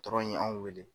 ye anw wele